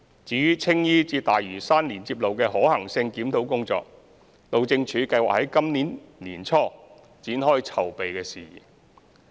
至於青衣至大嶼山連接路的可行性檢討工作，路政署計劃今年年初展開籌備事宜。